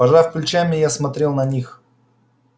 пожав плечами я смотрел на них